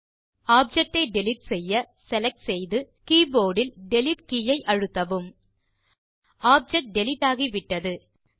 object ஐ delete செய்ய select செய்து கீபோர்ட் இல் டிலீட் கே ஐ அழுத்தவும் ஆப்ஜெக்ட் டிலீட் ஆகிவிட்டது